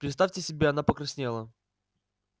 представьте себе она покраснела